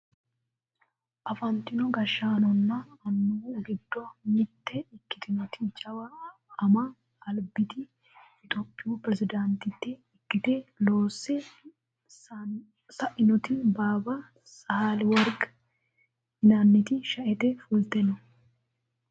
afantino gashshaanonna annuwu giddo mitte ikitinoti jawa ama albiti itiyophiyu perezidaantitte ikkite loosse sainoti baabba sahile worqi yinanniti sha"ete fulte no